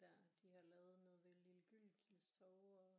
Der de har lavet nede ved Lilli Gyldenkildes Torv og